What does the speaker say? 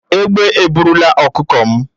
Ègbé eburulà ọkụkọ m